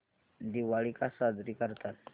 दिवाळी का साजरी करतात